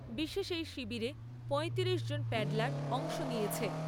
বিশেষ এই শিবিরে পয়তিরিশ জন প্যাডলার অংশ নিয়েছে।